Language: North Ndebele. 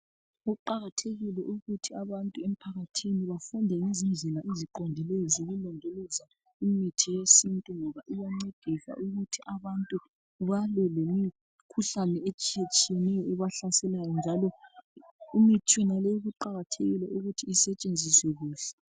Kuqakathekile ukuthi abantu emphakathini bafunde ngezindlela eziqondileyo zokulondoloza imithi yesintu ngoba iyancedisa ukuthi abantu balwe lemikhuhlane etshiyetshiyeneyo ebahlaselayo njalo imithi yonaleyi kuqakathekile ukuthi isetshenziswe kuhle